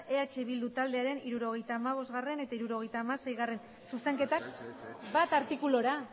eh bildu taldearen hirurogeita hamabostgarrena eta hirurogeita hamaseigarrena zuzenketak bat artikulura